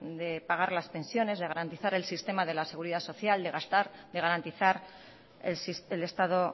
de pagar las pensiones de garantizar el sistema de la seguridad social de gastar de garantizar el estado